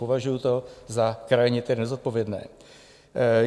Považuju to za krajně tedy nezodpovědné.